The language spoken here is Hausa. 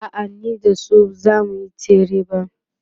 a'a ni da su zamuyi tsere ba